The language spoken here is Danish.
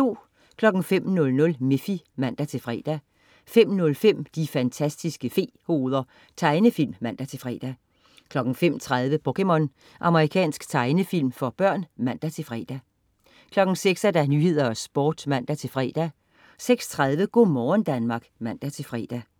05.00 Miffy (man-fre) 05.05 De fantastiske fe-hoveder. Tegnefilm (man-fre) 05.30 POKéMON. Japansk tegnefilm for børn (man-fre) 06.00 Nyhederne og Sporten (man-fre) 06.30 Go' morgen Danmark (man-fre)